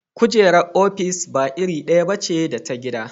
Kujerar ofis ba iri ɗaya ba ce da ta gida.